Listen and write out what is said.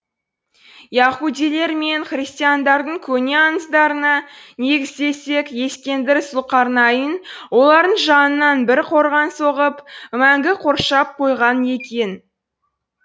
яһудилер мен христиандардың көне аңыздарына негізделсек ескендір зұлқарнайн олардың жанынан бір қорған соғып мәңгі қоршап қойған екен